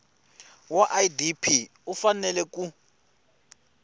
wa idp u fanele ku